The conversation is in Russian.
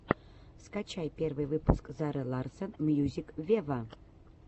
скачай первый выпуск зары ларсон мьюзик вево